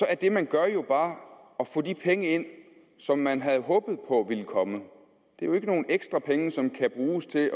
er det man gør jo bare at få de penge ind som man havde håbet på ville komme det er jo ikke nogle ekstra penge som kan bruges til